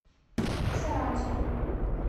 саранску